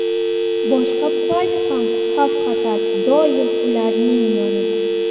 Boshqa payt ham xavf-xatar doim ularning yonida.